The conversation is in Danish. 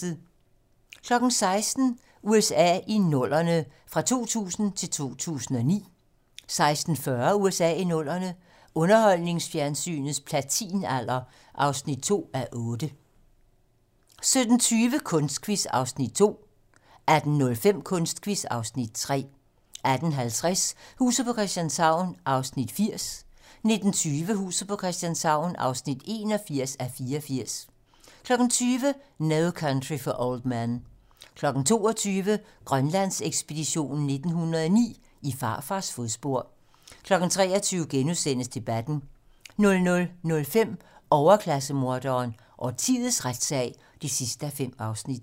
16:00: USA i 00'erne - fra 2000 til 2009 16:40: USA i 00'erne - underholdningsfjernsynets platinalder (2:8) 17:20: Kunstquiz (Afs. 2) 18:05: Kunstquiz (Afs. 3) 18:50: Huset på Christianshavn (80:84) 19:20: Huset på Christianshavn (81:84) 20:00: No Country for Old Men 22:00: Grønlandsekspeditionen 1909: I farfars fodspor 23:00: Debatten * 00:05: Overklasse-morderen: Årtiets retssag (5:5)